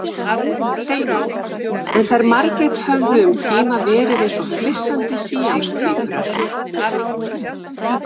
Steinunni, en þær Margrét höfðu um tíma verið eins og flissandi síamstvíburar.